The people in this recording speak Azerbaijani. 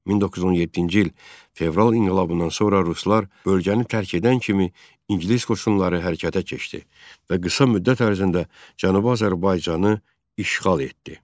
1917-ci il fevral inqilabından sonra ruslar bölgəni tərk edən kimi ingilis qoşunları hərəkətə keçdi və qısa müddət ərzində Cənubi Azərbaycanı işğal etdi.